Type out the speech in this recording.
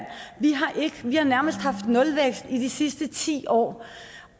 vi har nærmest haft nulvækst i de sidste ti år